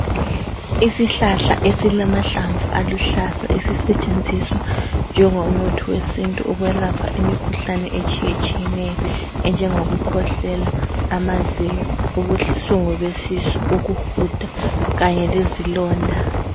Isihlahla esilamahlamvu aluhlaza esisetshenziswa njengomuthi wesintu ukwelapha imikhuhlane etshiyetshiyeneyo enjengokukhwehlela, amazinyo, ubuhlungu besisu, ukuhuda kanye lezilonda.